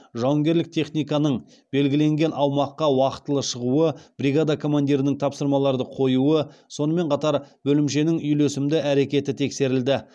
жауынгерлік техниканың белгіленген аумаққа уақытылы шығуы бригада командирінің тапсырмаларды қоюы сонымен қатар бөлімшенің үйлесімді әрекеті тексерілді